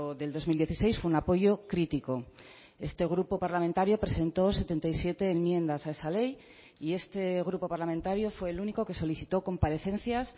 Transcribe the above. del dos mil dieciséis fue un apoyo crítico este grupo parlamentario presentó setenta y siete enmiendas a esa ley y este grupo parlamentario fue el único que solicitó comparecencias